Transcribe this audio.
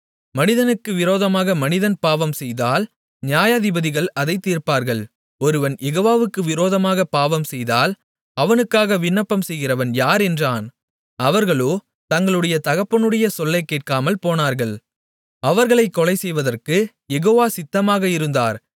மனிதனுக்கு விரோதமாக மனிதன் பாவம்செய்தால் நியாயாதிபதிகள் அதைத் தீர்ப்பார்கள் ஒருவன் யெகோவாவுக்கு விரோதமாகப் பாவம்செய்தால் அவனுக்காக விண்ணப்பம் செய்கிறவன் யார் என்றான் அவர்களோ தங்களுடைய தகப்பனுடைய சொல்லைக்கேட்காமல் போனார்கள் அவர்களைக் கொலைசெய்வதற்கு யெகோவா சித்தமாக இருந்தார்